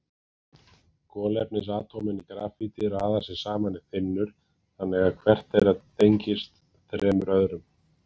Kolefnisatómin í grafíti raða sér saman í þynnur þannig að hvert þeirra tengist þremur öðrum.